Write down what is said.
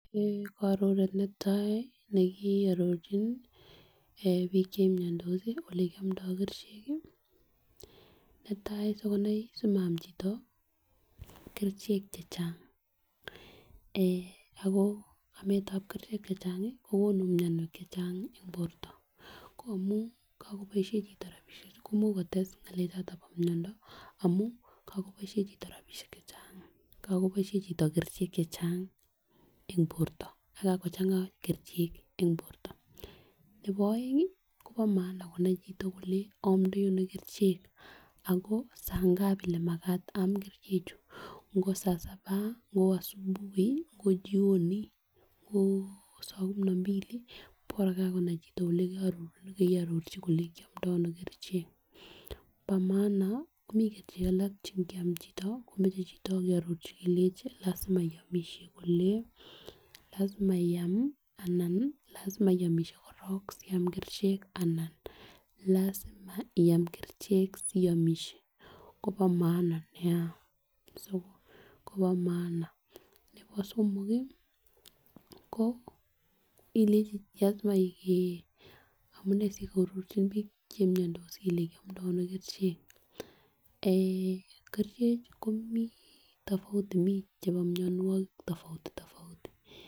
Kororet netai nekiororchin bik chemiondos olekiomdi kerichek kii netai sikonai simaam chito kerichek chechang ako ametab kerichek chechang kokonu mionwek chechang en borto ko amun kokoboishen chito rabishek ko imuch kotesu ngelel choto bo miondo amun kokoboishen chito rabishek chechang, kokoboishen chito kerichek chechang en borto akakochenga kerichek en borto. Nebo oeng Kobo maana konai chito kole omdoi Ono kerichek ako saa ngapi ne makat aam kerichek chuu ngo saa sabai ngo chioni ngo saa kumi na mbili Bora kakonai chito kou yekeororchi kole kiomdo Ono kerichek, bo maana mii kerichek alak chenkiam chito komoche chito keororchi kelenji lasima iomishe kole lasima I am anan lasima iomishe korong Siam kerichek anan lasima Iam kerichek siomishe Kobo maana nia so Kobo maana nebo somok kii ko ilenji lasima kee amunee sikeororchibik chemiondos kele kiomdo Ono kerichek eeh kerichek komii tofauti mii chebo mionwek tofauti tofauti.